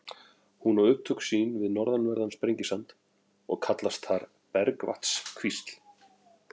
Hún á upptök sín við norðanverðan Sprengisand og kallast þar Bergvatnskvísl.